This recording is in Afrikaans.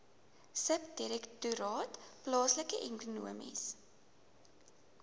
subdirektoraat plaaslike ekonomiese